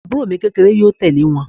Àbúrò mi kékeré yóò tẹ̀lé wọn